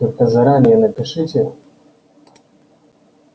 только заранее напишите